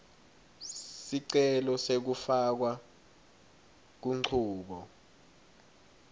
sicelo sekufakwa kunchubo